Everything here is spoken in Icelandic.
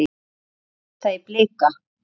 Hvernig leggst það í Blika?